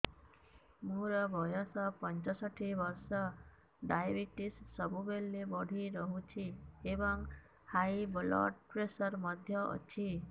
ମୋର ବୟସ ପଞ୍ଚଷଠି ବର୍ଷ ଡାଏବେଟିସ ସବୁବେଳେ ବଢି ରହୁଛି ଏବଂ ହାଇ ବ୍ଲଡ଼ ପ୍ରେସର ମଧ୍ୟ ଅଛି